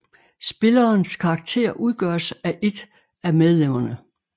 Spillerens karakter udgøres af et af medlemmerne